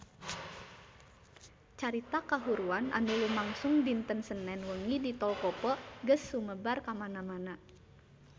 Carita kahuruan anu lumangsung dinten Senen wengi di Tol Kopo geus sumebar kamana-mana